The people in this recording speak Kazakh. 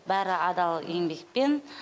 бәрі адал еңбекпен